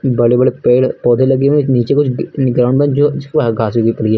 बड़े बड़े पेड़ पौधे लगे हुएं हैं नीचे कुछ ग ग्राउंड बन जो जिसपे घास उगी पड़ी है।